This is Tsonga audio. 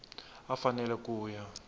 a a fanele ku ya